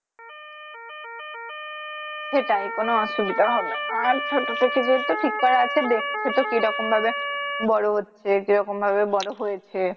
সেটাই কোন অসুবিধা হবে না আর ছোট থেকেই যেহেতু ঠিক করা আছে দেখছে তো কি রকম ভাবে বড় হচ্চে কিরকম ভাবে বড় হয়েছে